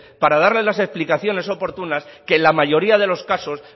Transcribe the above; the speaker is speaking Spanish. para darles las explicaciones oportunas que en la mayoría de los casos